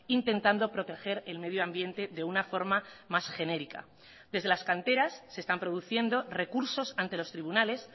intentando proteger el medio ambiente de una forma más genérica desde las canteras se están produciendo recursos ante los tribunales